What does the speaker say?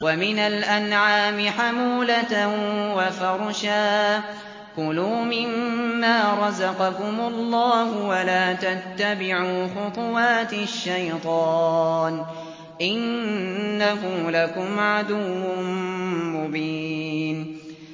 وَمِنَ الْأَنْعَامِ حَمُولَةً وَفَرْشًا ۚ كُلُوا مِمَّا رَزَقَكُمُ اللَّهُ وَلَا تَتَّبِعُوا خُطُوَاتِ الشَّيْطَانِ ۚ إِنَّهُ لَكُمْ عَدُوٌّ مُّبِينٌ